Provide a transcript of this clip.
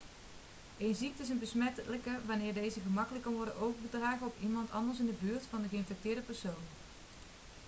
een ziekte is besmettelijk wanneer deze gemakkelijk kan worden overgedragen op iemand anders in de buurt van de geïnfecteerde persoon